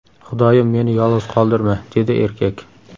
Xudoyim, meni yolg‘iz qoldirma”, – dedi erkak.